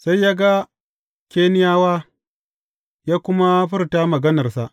Sai ya ga Keniyawa, ya kuma furta maganarsa.